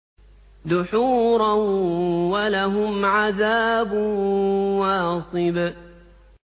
دُحُورًا ۖ وَلَهُمْ عَذَابٌ وَاصِبٌ